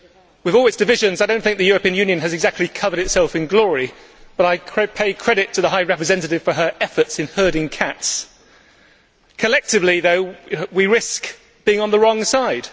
With all its divisions, I do not think the European Union has exactly covered itself in glory, but I pay credit to the High Representative for her efforts in herding cats. Collectively though, we risk being on the wrong side.